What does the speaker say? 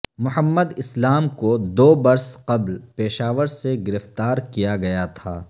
محمد اسلام کو دو برس قبل پشاور سےگرفتار کیا گیا تھا